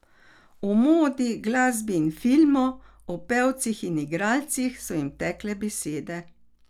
O modi, glasbi in filmu, o pevcih in igralcih so jim tekle besede.